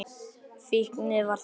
Fíknin var þannig.